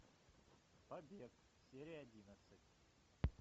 побег серия одиннадцать